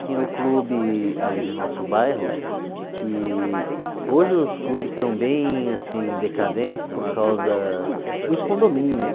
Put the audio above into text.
Tinha o clube ali no nosso bairro, que hoje os clubes estão bem assim decadentes por causa dos condomínios.